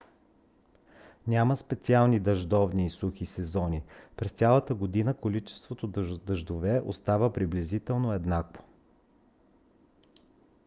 няма специални дъждовни и сухи сезони: през цялата година количеството дъждове остава приблизително еднакво